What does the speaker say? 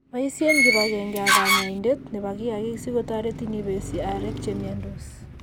Boisien kibagenge ak kanyaindet nebo kiagik si kotoretin ibesie areek che miandos.